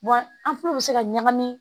an fɛnɛ bɛ se ka ɲagami